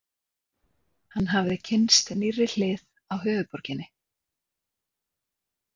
Hann hafði kynnst nýrri hlið á höfuðborginni.